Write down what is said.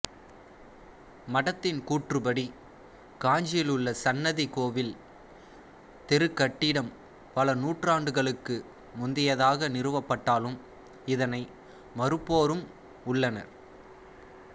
மடத்தின் கூற்றுப்படி காஞ்சியிலுள்ள சன்னிதி கோவில் தெருக்கட்டிடம் பல நூற்றாண்டுகளுக்கு முந்தையதாக நிறுவப்பட்டாலும் இதனை மறுப்போரும் உள்ளனர்